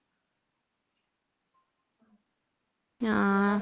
ആ